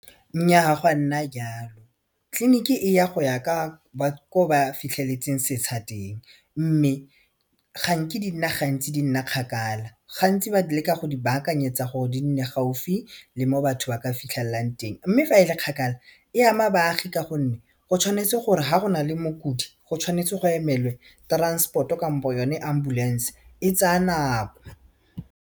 Nnyaa gwa nna jalo tleliniki eya go ya ka ko ba fitlhetseng setsha teng mme ga nke di nna gantsi di nna kgakala gantsi ba leka go di baakanyetsa gore di nne gaufi le mo batho ba ka fitlhelelang teng mme fa e le kgakala e ama baagi ka gonne go tshwanetse gore ga go nale mokudi go tshwanetse go emelwe transport-o kampo yone ambulance e tsaya nako.